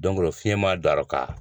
fiɲɛ ma don a rɔ ka